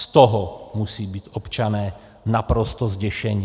Z toho musí být občané naprosto zděšeni.